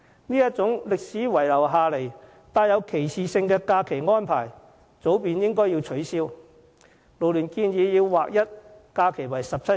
這種歷史遺留下來並帶有歧視性的假期安排早應取消，勞聯建議畫一假期為17天。